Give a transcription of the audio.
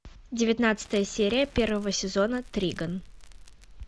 девятнадцатая серия первого сезона триган